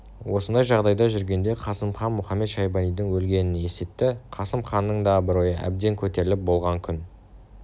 осындай жағдайда жүргенде қасым хан мұхамед-шайбанидың өлгенін есітті қасым ханның да абыройы әбден көтеріліп болған күн